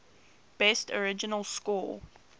best original score